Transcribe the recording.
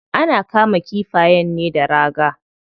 Ana kama kifayen ne da raga.